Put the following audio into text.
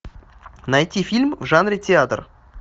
найти фильм в жанре театр